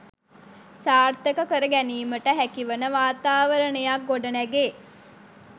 සාර්ථක කර ගැනීමට හැකිවන වාතාවරණයක් ගොඩනැගේ.